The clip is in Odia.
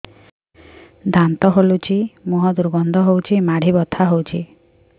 ଦାନ୍ତ ହଲୁଛି ମୁହଁ ଦୁର୍ଗନ୍ଧ ହଉଚି ମାଢି ବଥା ହଉଚି